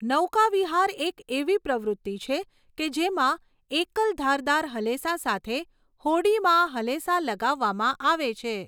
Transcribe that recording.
નૌકાવિહાર એક એવી પ્રવૃત્તિ છે કે જેમાં એકલ ધારદાર હલેસા સાથે હોડીમાં હલેસા લગાવવામાં આવે છે.